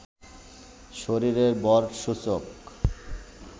শরীরের ভর সূচক